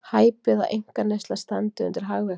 Hæpið að einkaneysla standi undir hagvexti